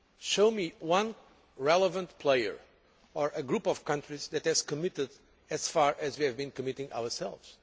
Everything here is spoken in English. Show me one relevant player or a group of countries that have committed as far as we have been committing ourselves.